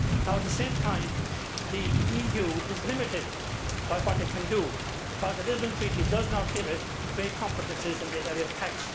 At the same time, the EU is limited by what it can do, because the Lisbon Treaty does not give it great competences in the area of tax.